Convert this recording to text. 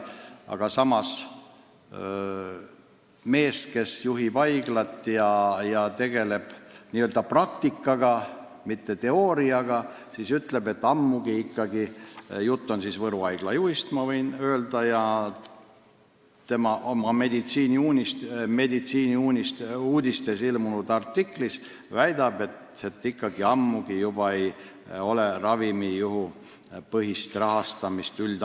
Aga samas mees, kes juhib haiglat ja tegeleb praktikaga, mitte teooriaga – jutt on Võru Haigla juhist ja tema Meditsiiniuudistes ilmunud artiklist –, väidab, et juba ammu ei ole üldhaiglates ravijuhupõhist rahastamist.